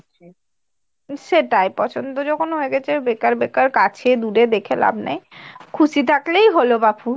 সেটাই পছন্দ যখন হয়ে গেছে বেকার বেকার কাছে দূরে দেখে লাভ নেই খুশি থাকলেই হল বাপু।